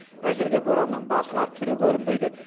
әзірге боранның басылар түрі көрінбейді